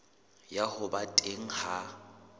ya ho ba teng ha